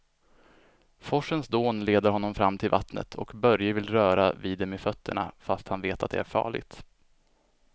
Forsens dån leder honom fram till vattnet och Börje vill röra vid det med fötterna, fast han vet att det är farligt.